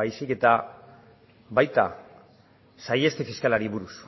baizik eta baita saiheste fiskalari buruz